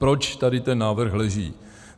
Proč tady ten návrh leží?